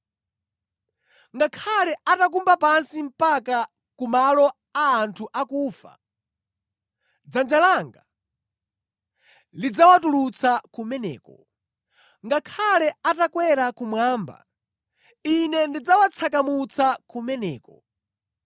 Ngakhale atakumba pansi mpaka ku malo a anthu akufa, dzanja langa lidzawatulutsa kumeneko. Ngakhale atakwera kumwamba Ine ndidzawatsakamutsa kumeneko.